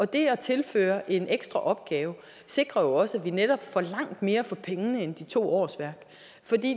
det at tilføre en ekstra opgave sikrer jo også at vi netop får langt mere for pengene end de to årsværk